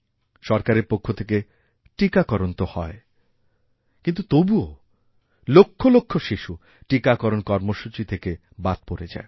সরকারের পক্ষ থেকেটীকাকরণ তো হয় কিন্তু তবুও লক্ষ লক্ষ শিশু টীকাকরণ কর্মসূচি থেকে বাদ পড়ে যায়